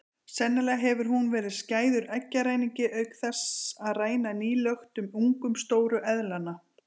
Sennilega hefur hún verið skæður eggjaræningi auk þess að ræna nýklöktum ungum stóru eðlanna.